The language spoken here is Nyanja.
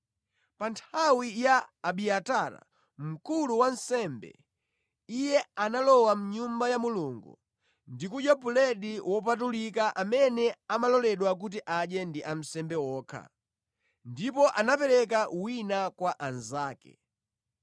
Pa nthawi ya Abiatara mkulu wa ansembe, iye analowa mʼnyumba ya Mulungu ndi kudya buledi wopatulika amene amaloledwa kuti adye ndi ansembe okha. Ndipo anapereka wina kwa anzake.”